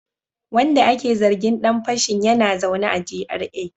Wanda ake zargin dan fashin yana zaune a GRA